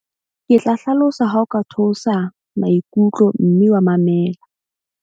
Ke tla hlalosa ha o ka theosa maikutlo mme wa mamela.